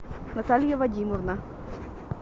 наталья вадимовна